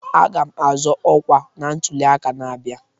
Aga'm azọ ọkwa na ntuli aka na-abịa